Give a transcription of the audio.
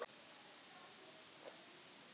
Það væri þeirra skoðun á málinu?